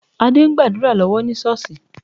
Adé ń gbàdúrà lọ́wọ́ ní Ṣọ́ọ̀ṣì